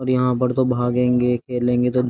यहां पर तो भागेंगे खेल लेंगे तो --